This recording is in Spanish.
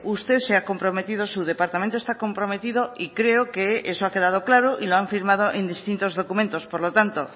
usted se ha comprometido su departamento está comprometido y creo que eso ha quedado claro y lo han firmado en distintos documentos por lo tanto